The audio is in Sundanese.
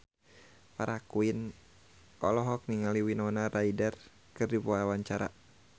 Farah Quinn olohok ningali Winona Ryder keur diwawancara